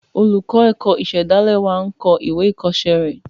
Olùkọ́ ẹ̀kọ́ ìsàdálẹ̀ wa n kọ ìwé ìkọ́sẹ́ rẹ̀